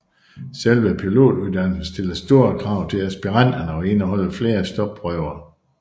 Selve pilotuddannelsen stiller store krav til aspiranterne og indeholder flere stopprøver